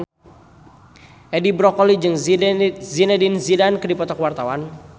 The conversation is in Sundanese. Edi Brokoli jeung Zidane Zidane keur dipoto ku wartawan